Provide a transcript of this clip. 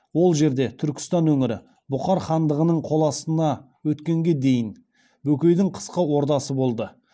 ол жерде түркістан өңірі бұхар хандығының қол астына өткенге дейін бөкейдің қысқы ордасы болды